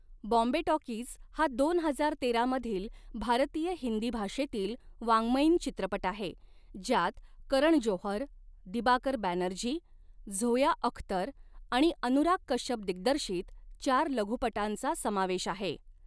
Bombay talkies' हा दोन हजार तेरा मधील भारतीय हिंदी भाषेतील वाङ्मयीन चित्रपट आहे, ज्यात करण जोहर, दिबाकर बॅनर्जी, झोया अख्तर आणि अनुराग कश्यप दिग्दर्शित चार लघुपटांचा समावेश आहे.